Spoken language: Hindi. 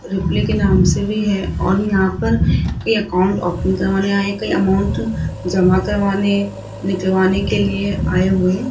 रिप्ले के नाम से भी है और यहां पर कई अकाउंट ओपन करवाने आए कई अमाउंट जमा करवाने निकलवाने के लिए आए हुए --